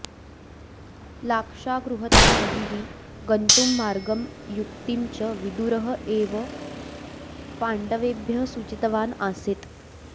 लाक्षागृहतः बहिः गन्तुं मार्गं युक्तिं च विदुरः एव पाण्डवेभ्यः सूचितवान् आसीत्